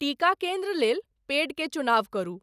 टीका केन्द्र लेल पेड के चुनाव करू।